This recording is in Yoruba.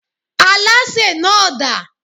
Alásè náà dà?